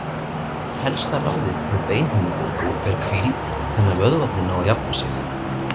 Helsta ráðið við beinhimnubólgu er hvíld þannig að vöðvarnir nái að jafna sig.